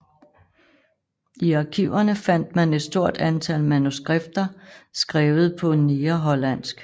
I arkiverne fandt man et stort antal manuskripter skrevet på negerhollandsk